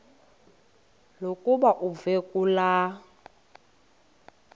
lokuba uve kulaa